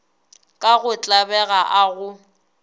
ka go tlabega a go